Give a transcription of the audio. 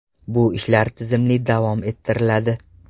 Bu ishlar tizimli davom ettiriladi.